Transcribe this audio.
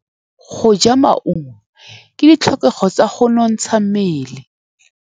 Go ja maungo ke ditlhokegô tsa go nontsha mmele.